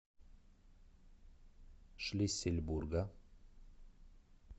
шлиссельбурга